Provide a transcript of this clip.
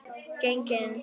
Geng inn.